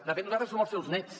de fet nosaltres som els seus nets